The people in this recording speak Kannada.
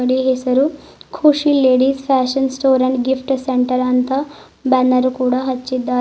ಈ ಹೆಸರು Khushi ladies fashion store and gift centre ಅಂತ ಬ್ಯಾನರ್ ಕೂಡ ಹಚ್ಚಿದ್ದಾರೆ.